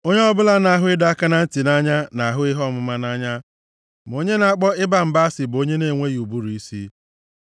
Onye ọbụla na-ahụ ịdọ aka na ntị nʼanya na-ahụ ihe ọmụma nʼanya, ma onye na-akpọ ịba mba asị bụ onye na-enweghị ụbụrụ isi.